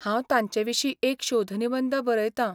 हांव तांचे विशीं एक शोध निबंद बरयतां.